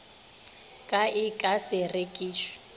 ka e ka se rekišwe